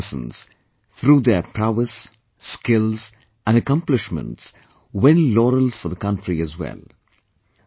And our sportspersons, through their prowess, skills and accomplishments win laurels for the country as well